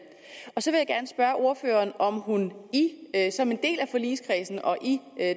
jeg ordføreren om hun som en del af forligskredsen og i